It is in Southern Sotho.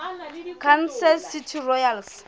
kansas city royals